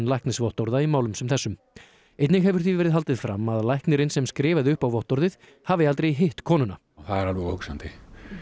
læknisvottorða í málum sem þessum einnig hefur því verið haldið fram að læknirinn sem skrifaði upp á vottorðið hafi aldrei hitt konuna það er alveg óhugsandi